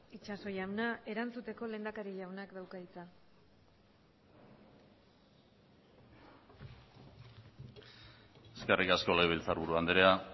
itxaso jauna erantzuteko lehendakari jaunak dauka hitza eskerrik asko legebiltzarburu andrea